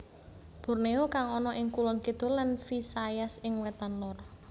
Borneo kang ana ing Kulon Kidul lan Visayas ing Wètan Lor